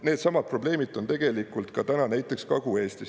Needsamad probleemid on tegelikult ka täna näiteks Kagu-Eestis.